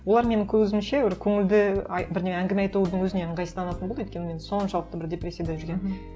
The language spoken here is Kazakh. олар менің көзімше бір көңілді бірдеңе әңгіме айтудың өзіне ыңғайсызданатын болды өйткені мен соншалықты бір депрессияда жүргенмін